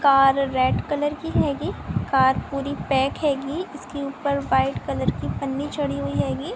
Car red colour की हैगी car पूरी पैक हैगी इसके ऊपर वाइट कलर की पन्नी चढ़ी हैगी ।